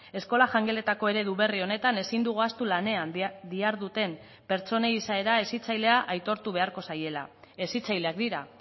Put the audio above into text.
eskola jangeletako eredu berri honetan ezin dugu ahaztu lanean diharduten pertsonei izaera hezitzailea aitortu beharko zaiela hezitzaileak dira